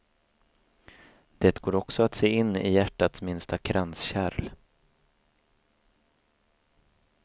Det går också att se in i hjärtats minsta kranskärl.